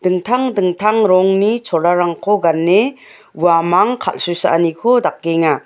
dingtang dingtang rongni cholarangko gane uamang kal·susaaniko dakenga.